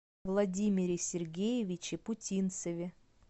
владимире сергеевиче путинцеве